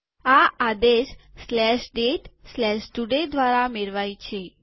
આ આદેશ datetoday દ્વારા મેળવાય છે